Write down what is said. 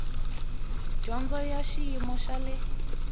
dyondzo ya xiyimo xa le